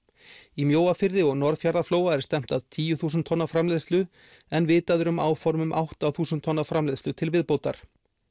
í Mjóafirði og Norðfjarðarflóa er stefnt að tíu þúsund tonna framleiðslu en vitað er um áform um átta þúsund tonna framleiðslu til viðbótar